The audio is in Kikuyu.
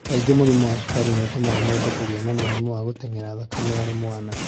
Kaingĩ, hypotonia, nĩ ĩtumaga mũndũ kũgĩa na mũrimũ wa spasticity arĩ mwana.